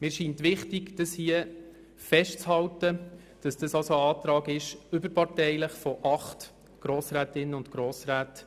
Für mich ist es wichtig, hier festzuhalten, dass es sich um einen überparteilichen Antrag handelt, unterschrieben von acht Grossrätinnen und Grossräten.